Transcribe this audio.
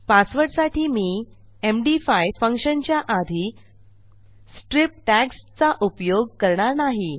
पासवर्डसाठी मी एमडी5 फंक्शनच्या आधी स्ट्रिप टॅग्स चा उपयोग करणार नाही